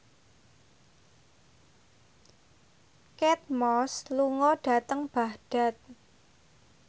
Kate Moss lunga dhateng Baghdad